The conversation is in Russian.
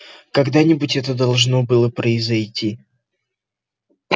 когда-нибудь это должно было произойти